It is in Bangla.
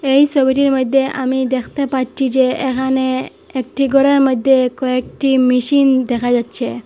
এই ছবিটির মইধ্যে আমি দেখতে পাচ্ছি যে এহানে একটি ঘরের মইধ্যে কয়েকটি মেশিন দেখা যাচ্ছে।